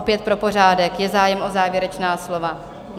Opět pro pořádek, je zájem o závěrečná slova?